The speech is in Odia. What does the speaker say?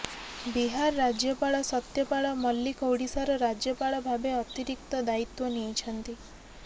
ବିହାର ରାଜ୍ୟପାଳ ସତ୍ୟପାଳ ମଲ୍ଲିକ ଓଡ଼ିଶାର ରାଜ୍ୟପାଳ ଭାବେ ଅତିରିକ୍ତ ଦାୟିତ୍ୱ ନେଇଛନ୍ତି